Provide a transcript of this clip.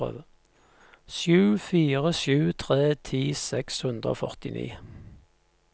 sju fire sju tre ti seks hundre og førtini